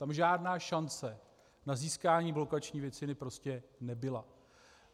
Tam žádná šance na získání blokační většiny prostě nebyla.